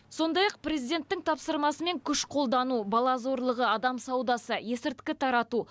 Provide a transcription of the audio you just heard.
сондай ақ президенттің тапсырмасымен күш қолдану бала зорлығы адам саудасы есірткі тарату